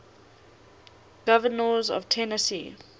governors of tennessee